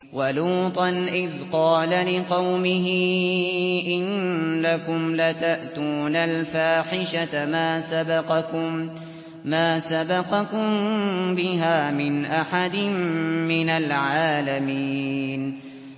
وَلُوطًا إِذْ قَالَ لِقَوْمِهِ إِنَّكُمْ لَتَأْتُونَ الْفَاحِشَةَ مَا سَبَقَكُم بِهَا مِنْ أَحَدٍ مِّنَ الْعَالَمِينَ